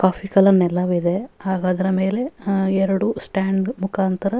ಕೊಫಿ colour ನೆಲವಿದೆ ಹಾಗು ಅದರ ಮೇಲೆ ಎರಡು ಸ್ಟ್ಯಾಂಡ್ ಮುಖಾಂತರ --